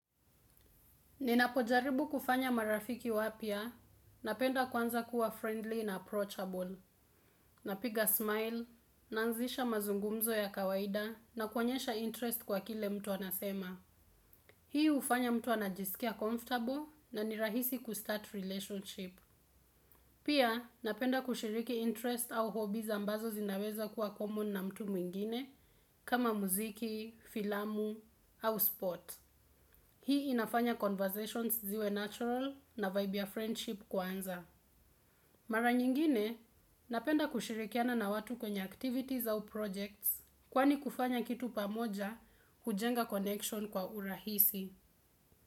Ninapojaribu kufanya marafiki wapya, napenda kwanza kuwa friendly na approachable, napiga smile, naanzisha mazungumzo ya kawaida na kuonyesha interest kwa kile mtu anasema. Hii ufanya mtu anajisikia comfortable na nirahisi kustart relationship. Pia napenda kushiriki interest au hobi ambazo zinaweza kuwa common na mtu mwingine kama muziki, filamu au sport. Hii inafanya conversations ziwe natural na vibe ya friendship kuanza. Mara nyingine, napenda kushirikiana na watu kwenye activities au projects, kwani kufanya kitu pamoja hujenga connection kwa urahisi.